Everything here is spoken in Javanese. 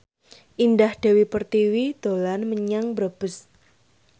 Indah Dewi Pertiwi dolan menyang Brebes